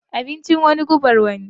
Abincin wani gubar wani.